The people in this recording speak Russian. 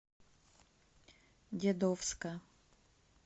дедовска